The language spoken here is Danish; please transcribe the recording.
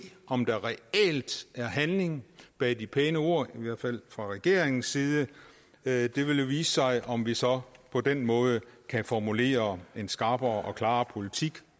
om der reelt er handling bag de pæne ord i hvert fald fra regeringens side det det vil jo vise sig om vi så på den måde kan formulere en skarpere og klarere politik